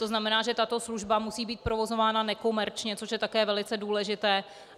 To znamená, že tato služba musí být provozována nekomerčně, což je také velice důležité.